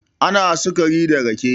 ana sukari da rake